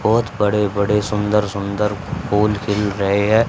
बहोत बड़े बड़े सुन्दर सुन्दर फूल खिल रहे है।